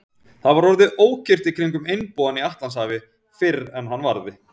Það var orðið ókyrrt í kringum einbúann í Atlantshafi, fyrr en hann varði.